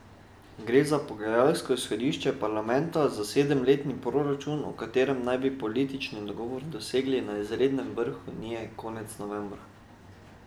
Gre za pogajalsko izhodišče parlamenta za sedemletni proračun, o katerem naj bi politični dogovor dosegli na izrednem vrhu unije konec novembra.